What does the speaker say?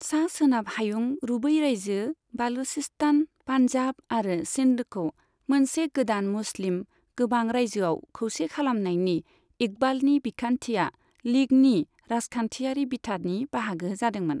सा सोनाब हायुं रुबै राइजो, बालुचिस्तान, पान्जाब आरो सिन्धखौ मोनसे गोदान मुस्लिम गोबां राइजोआव खौसे खालामनायनि इकबालनि बिखान्थिया लीगनि राजखान्थियारि बिथानि बाहागो जादोंमोन।